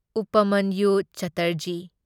ꯎꯄꯃꯟꯌꯨ ꯆꯠꯇꯔꯖꯤ